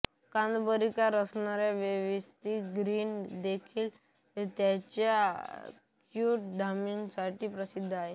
कादंबरीकार असण्याव्यतिरिक्त ग्रीन देखील त्याच्या यूट्यूब उद्यमांसाठी प्रसिद्ध आहे